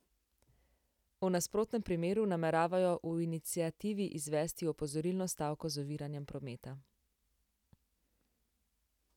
V nasprotnem primeru nameravajo v iniciativi izvesti opozorilno stavko z oviranjem prometa.